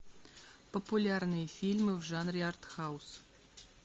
популярные фильмы в жанре артхаус